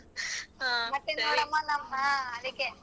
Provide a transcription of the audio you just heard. ಹಾ